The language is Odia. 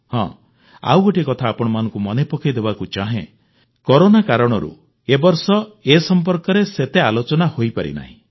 ହଁ ଆଉ ଗୋଟିଏ କଥା ଆପଣମାନଙ୍କୁ ମନେ ପକାଇ ଦେବାକୁ ଚାହେଁ କରୋନା କାରଣରୁ ଏ ବର୍ଷ ଏ ସମ୍ପର୍କରେ ସେତେ ଆଲୋଚନା ହୋଇପାରିନାହିଁ